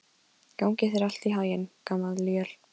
Gangi þér allt í haginn, Gamalíel.